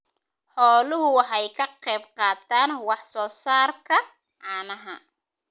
Xooluhu waxay ka qayb qaataan wax soo saarka caanaha.